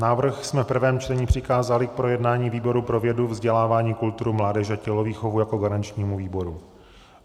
Návrh jsme v prvém čtení přikázali k projednání výboru pro vědu, vzdělání, kulturu, mládež a tělovýchovu jako garančnímu výboru.